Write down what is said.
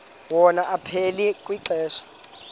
wona aphila kwixesha